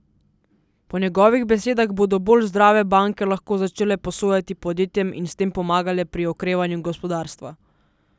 Po njegovih besedah bodo bolj zdrave banke lahko začele posojati podjetjem in s tem pomagale pri okrevanju gospodarstva.